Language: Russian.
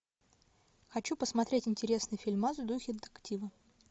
хочу посмотреть интересный фильмас в духе детектива